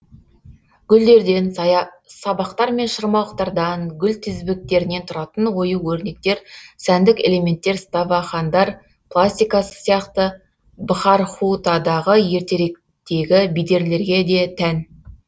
гүлдерден сабақтар мен шырмауықтардан гүл тізбектерінен тұратын ою өрнектер сәндік элементтер ставахандар пластикасы сияқты бхархутадағы ертеректегі бедерлерге де тән